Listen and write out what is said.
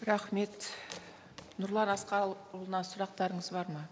рахмет нұрлан асқарұлына сұрақтарыңыз бар ма